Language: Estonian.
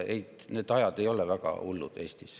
Ajad ei ole Eestis väga hullud.